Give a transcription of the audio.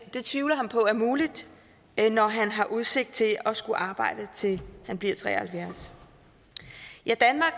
det tvivler han på er muligt når han har udsigt til at skulle arbejde til han bliver tre og halvfjerds